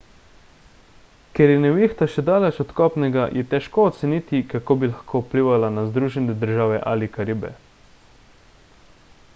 ker je nevihta še daleč od kopnega je težko oceniti kako bi lahko vplivala na združene države ali karibe